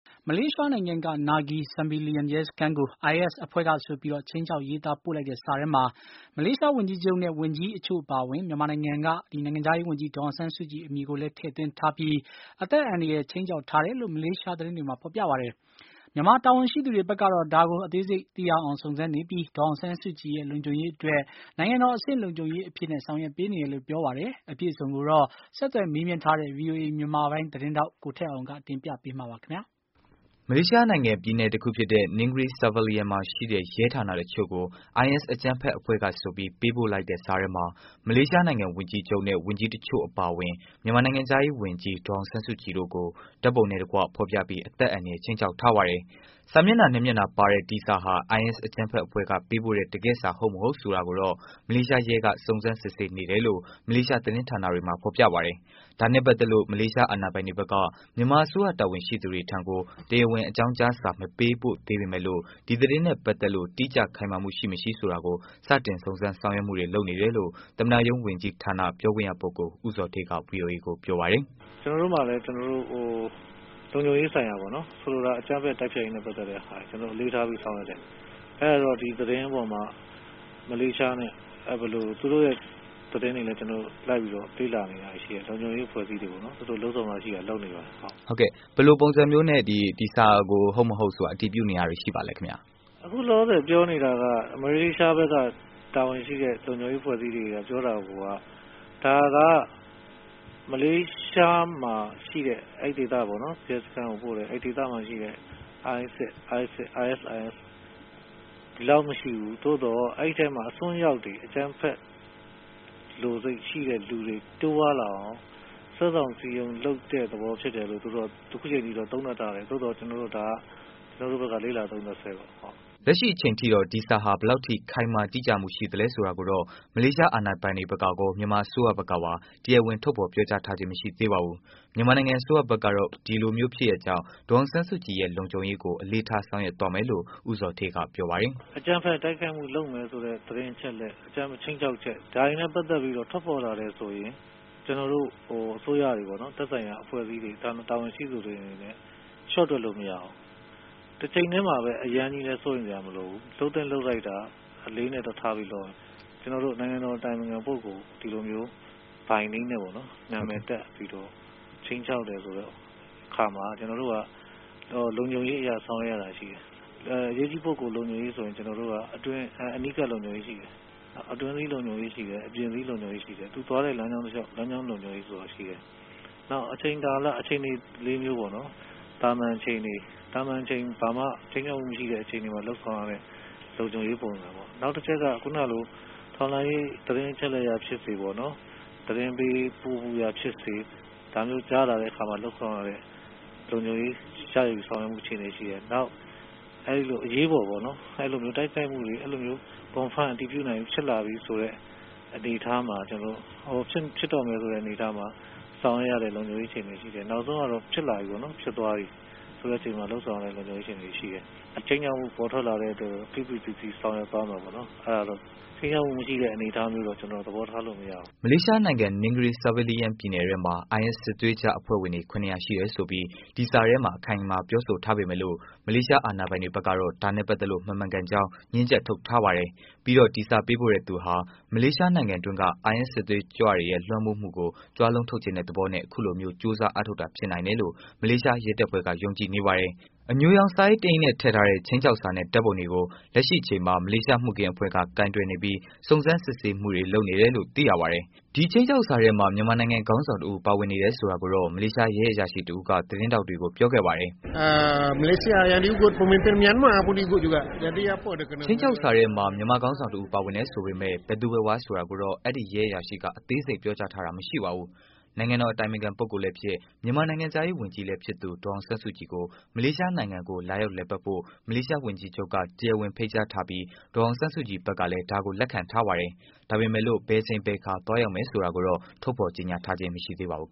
မလေးရှားနိုင်ငံက Negri Sembilian ရဲစခန်းကို IS အဖွဲ့ဆိုပြီး ခြိမ်းခြောက်ရေးသားပို့လိုက်တဲ့စာထဲမှာ မလေးရှားဝန်ကြီးချုပ်နဲ့ ဝန်ကြီးအချို့အပါအဝင် မြန်မာနိုင်ငံက ဒေါ်အောင်ဆန်းစုကြည် အမည်ကိုလည်း ထည့်သွင်းထားပြီး အသက်အန္တရာယ်ခြိမ်းခြောက်ထားတယ်လို့ မလေးရှား သတင်း တွေမှာ ဖော်ပြပါတယ်။ မြန်မာတာဝန်ရှိသူတွေဘက်ကတော့ ဒါကို အသေးစိတ်သိရအောင် စုံစမ်းနေပြီး၊ ဒေါ်အောင်ဆန်းစုကြည်ရဲ့ လုံခြုံရေးအတွက် နိုင်ငံတော်အဆင့်လုံခြုံရေးအဖြစ် ဆောင်ရွက်ပေးနေတယ်လို့ ပြောပါတယ်။ အပြည့်အစုံကိုတော့ ဆက်သွယ်မေးမြန်းထားတဲ့ ဗွီအိုအေမြန်မာပိုင်း သတင်းထောက် ကိုထက်အောင်က တင်ပြပေးမှာပါ။ မလေးရှား နိုင်ငံ ပြည်နယ်တခုဖြစ်တဲ့ Negri Sembilan မှာရှိတဲ့ ရဲဌာနအချို့ကို IS အကြမ်းဖက်အဖွဲ့ကဆိုပြီး ပေးပို့လိုက်တဲ့ စာထဲမှာ မလေးရှား ဝန်ကြီးချုပ်နဲ့ ဝန်ကြီး တစ်ချို့အပါအဝင် မြန်မာနိုင်ငံခြားရေး ဝန်ကြီး ဒေါ်အောင်ဆန်းစုကြည်တို့ကို ဓာတ်ပုံနဲ့ ဖော်ပြပြီး အသက် အန္တရာယ်ခြိမ်းခြောက်ထားပါတယ်။ စာမျက်နှာ နှစ်မျက်နှာပါတဲ့ ဒီစာဟာ IS အကြမ်းဖက်အဖွဲ့က ပေးပို့တဲ့ တကယ့်စာ မဟုတ်မဟုတ် ဆိုတာတွေကို မလေးရှားရဲက စုံစမ်းစစ်ဆေးနေတယ်လို့ မလေးရှားသတင်းတွေမှာ ဖော်ပြပါတယ်။ ဒါနဲ့ ပတ်သတ်လို့ မလေးရှား အာဏာပိုင်တွေဘက်က မြန်မာအစိုးရ တာဝန်ရှိသူတွေထံကို တရားဝင် အကြောင်းကြားစာ မပေးပို့သေးပေမယ့်လို့ ဒီသတင်းနဲ့ ပတ်သတ်လို့ တိကျခိုင်မာမှု ရှိမရှိ စတင် စုံစမ်းဆောင်ရွက်မှုတွေ လုပ်နေတယ်လို့ သမ္မတရုံး ဝန်ကြီးဌာန ပြောခွင့်ရ ပုဂ္ဂိုလ် ဦးဇော်ဌေးက ဗွီအိုအေကို ပြောပါတယ်။ “ကျနော်တို့ဆီမှာလည်း လုံခြုံရေးဆိုင်ရာပေါ့နော် ဆိုလိုတာက အကြမ်းဖက်တိုက်ဖျက်ရေးနဲ့ ပတ်သက်တဲ့ဟာတွေကို အလေးထားပြီးဆောင်ရွက်တယ်။အဲဒါကြောင့် ဒီသတင်းအပေါ်မှာ မလေးရှားနဲ့ သူတို့ရဲ့သတင်းကိုလည်း လေ့လာနေတာတွေရှိတယ်။ လုံခြုံရေးအဖွဲ့အစည်းတွေလည်း သူတို့လုပ်စရာရှိတာတွေကို လုပ်ဆောင်နေပါတယ်။ ဟုတ်ကဲ့ ဘယ်လိုပုံစံမျိုးနဲ့ ဒီစာကို ဟုတ်မဟုတ်ဆိုတာ အတည်ပြုတာတွေရှိနေပါသလဲခင်ဗျ။ အခုလောလောဆယ်ပြောနေတာက မလေးရှားက တာဝန်ရှိတဲ့ လုံခြုံရေးအဖွဲ့အစည်းတွေ ပြောတာကိုက ဒါက မလေးရှားမှာရှိတဲ့ အဲဒီဒေသရဲစခန်းကိုပို့တဲ့ အဲဒီဒေသမှာရှိတဲ့ ISIS ဒီလောက်မရှိဘူး။ သို့သော်အဲဒီမှာရှိတဲ့အစွန်းရောက်တွေ လူတွေ တိုးပွားလာအောင် စွဲဆောင်စည်းရုံးလုပ်တဲ့သဘောထားလို့ သူတို့က အခုအချိန်အထိ သူတို့ သုံးသပ်ထားတယ်။ သို့သော်ကျနော်တို့က ဒါကတော့ လေ့လာသုံးသပ်စဲပါ။” လက်ရှိအချိန်ထိတော့ ဒီစာဟာ ဘယ်လောက်ထိ ခိုင်မာ တိကျမှု ရှိလဲဆိုတာကိုတော့ မလေးရှား အာဏာပိုင်တွေ ဖက်ကကော မြန်မာအစိုးရဖက်ကပါ တရားဝင် ထုတ်ဖော်ပြောကြားထားခြင်း မရှိသေးပါဘူး။ မြန်မာနိုင်ငံ အစိုးရဖက်ကတော့ အခုလိုမျိုး ဖြစ်ရပ်ကြောင့် ဒေါ်အောင်ဆန်းစုကြည်ရဲ့ လုံခြုံရေးကို အလေးထား ဆောင်ရွက်သွားမယ်လို့ ဦးဇော်ဌေးက ပြောပါတယ်။ “အကြမ်းဖက်တိုက်ခိုက်မှုလုပ်မယ်ဆိုတဲ့ သတင်းအချက်အလက် အကြမ်းဖက်ခြိမ်းခြောက်ချက် ဒါတွေနဲ့ ပတ်သက်ပြီးတော့ ထွက်ပေါ်လာတယ်ဆိုရင် ကျနော်တို့ အစိုးရတွေ သက်ဆိုင်ရာအဖွဲ့အစည်းတွေ တာဝန်ရှိသူတွေအနေနဲ့ လျှော့တွက်လို့မရဘူး။ တချိန်တည်းမှာလည်း အရမ်းစိုးရိမ်စရာမလိုဘူး။ လုပ်သင့်လုပ်ထိုက်တာ အလေးထားပြီးတော့လုပ်ရမယ်။ ကျနော်တို့ နိုင်ငံတော်အတိုပင်ခံပုဂ္ဂိုလ် ဒီလိုမျိုး by name နဲ့ ပေါ့နော် နံမည်တပ်ပြီတော့ ခြိမ်းခြောက်တဲ့အခါမှာ ကျနော်တို့က လုံခြုံရေးအရ ဆောင်ရွက်ရတာရှိတယ်။ အရေကြီးပုဂ္ဂိုလ်အတွက်ဆိုရင် ကျနော်တို့က အနီးကပ်လုံခြုံရေးရှိတယ်။ အတွင်းစည်း လုံခြုံရေးရှိတယ်၊ အပြင်စည်း လုံခြုံရေးရှိတယ်။ သွားတဲ့လမ်းကြောင်းတလျှောက် လမ်းကြောင်းလုံခြုံရေးရှိတယ်။ နောက်အချိန်ကာလ သာမန်အချိန်တွေမှာမှ ခြိမ်းခြောက်မှုရှိတဲ့အခါလုပ်ဆောင်ရတဲ့ လုံခြုံရေးပုံစံတွေရှိတယ်။ နောက် ခုနလို ထောက်လှမ်းရေးသတင်းအချက်အလက်အရဖြစ်စေ၊ သတင်းပေးမူဖြစ်စေ ဒါမျိုးကြားတဲ့အခါမှာ လုပ်ဆောင်ရတဲ့ လုံခြုံရေး ရယူဆောင်ရွက်ရတာတွေရှိတယ်။ နောက်အရေးပေါ်ပေါ့နော် အဲဒီလိုမျိုးတိုက်ခိုက်မူတွေ confirm အတည်ပြုတာတွေဖြစ်လာပြီဆိုတဲ့ အနေအထားမှာ ကျနော်တို့ ဖြစ်တော့မယ်ဆိုတဲ့အနေအထားမှာ ဆောင်ရွက်ရတဲ့ လုံခြုံရေးအခြေအနေရှိတယ်။ နောက်ဆုံးကတော့ ဖြစ်လာပြီ ဖြစ်သွားပြီ ဆိုတဲ့အချိန်မှာ လုပ်ဆောင်ရတဲ့ လုံခြုံရေးအခြေအနေရှိတယ်။ ဒီခြိမ်းခြောက်မှု ပေါ်ထွက်လာတဲ့အတွက် ဖိဖိစီးစီးဆောင်ရွက်သွားမယ်ပေါ့နော်။ ခြိမ်းခြောက်မှုမရှိတဲ့ အနေအထားမျိုးတော့ ကျနော်တို့ သဘောထားလို့မရဘူး။” မလေးရှားနိုင်ငံ Negri Sembilanပြည်နယ်ထဲမှာ IS စစ်သွေးကြွ အဖွဲ့ဝင်တွေ ၇၀၀ ရှိတယ်ဆိုပြီး ဒီစာထဲမှာ အခို်င်အမာပြောဆိုထားပေမယ့်လို့ မလေးရှား အာဏာပိုင်တွေဖက်ကတော့ ဒါနဲ့ ပက်သတ်လို့ မမှန်ကန်ကြောင်း ငြင်းချက်ထုတ်ထားပါတယ်။ ပြီးတော့ ဒီစာ ပေးပို့တဲ့သူဟာ မလေးရှားနိုင်ငံတွင်းက IS စစ်သွေးကြွတွေရဲ့ လွမ်းမိုးမှုမှုကို ကြွားလုံးထုတ်ချင်တဲ့ သဘောနဲ့ အခုလိုမျိုး ကြိုးစား အားထုတ်တာ ဖြစ်နိုင်တယ်လို့ မလေးရှား ရဲတပ်ဖွဲ့က ယုံကြည်နေပါတယ်။ အညိုရောင် စာအိတ် တစ်အိတ်နဲ့ ထည့်ထားတဲ့ ခြိမ်းခြောက်စာနဲ့ ဓာတ်ပုံတွေကို လက်ရှိအချိန်မှာ မလေးရှား မူခင်းအဖွဲ့က ကိုင်တွယ်နေပြီး စုံစမ်းစစ်ဆေးမှုတွေ လုပ်နေတယ်လို့ သိရပါတယ်။ ဒီ ခြိမ်းခြောက်စာထဲမှာ မြန်မာနိုင်ငံ ခေါင်းဆောင် တစ်ဦး ပါဝင်နေတယ်ဆိုတာကိုတော့ မလေးရှား ရဲအရာရှိ တဦးက သတင်းထောက်တွေကို ပြောခဲ့ပါတယ်။ “ခြိမ်းခြောက်စာထဲမှာ မြန်မာခေါင်းဆောင်တဦးပါဝင်တယ်လို့ဆိုပေမယ့် ဘယ်သူဘယ်ဝါ ဆိုတာကိုတော့ အဲဒီ ရဲအရာရှိက အသေးစိတ်ပြောထားတာမရှိပါဘူး။” နိုင်ငံတော်အတိုပင်ခံပုဂ္ဂိုလ်လည်းဖြစ် မြန်မာနိုင်ငံခြားရေးဝန်ကြီးလည်းဖြစ်သူ ဒေါ်အောင်ဆန်းစုကြည်ကို မလေးရှားနိုင်ငံကို လာရောက်လည်ပတ်ဖို့ မလေးရှားဝန်ကြီးချုပ်က တရားဝင် ဖိတ်ကြားထားပြီး၊ ဒေါ်အောင်ဆန်းစုကြည် ဘက်ကလည်း ဒါကို လက်ခံထားပါတယ်။ ဒါပေမယ့်လို့ ဘယ်အချိန်အခါ သွားရောက်မယ်ဆိုတာကိုတော့ ထုတ်ပြန်ကြေညာခြင်းမရှိသေးပါဘူး